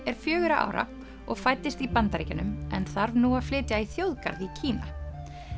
er fjögurra ára og fæddist í Bandaríkjunum en þarf nú að flytja í þjóðgarð í Kína